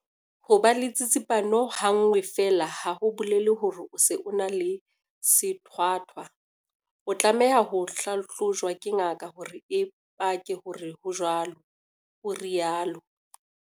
"Ho ba le tsitsipano ha nngwe feela ha ho bolele hore o se o na le sethwathwa. O tlameha ho hlahlojwa ke ngaka hore e pake hore ho jwalo," o rialo.